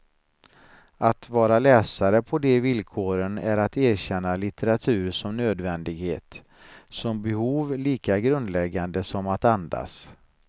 Att vara läsare på de villkoren är att erkänna litteratur som nödvändighet, som behov lika grundläggande som att andas.